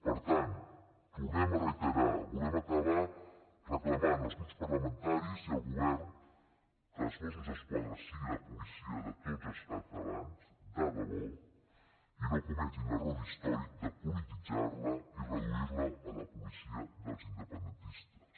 per tant ho tornem a reiterar volem acabar reclamant als grups parlamentaris i al govern que els mossos d’esquadra siguin la policia de tots els catalans de debò i no cometin l’error històric de polititzar la i reduir la a la policia dels independentistes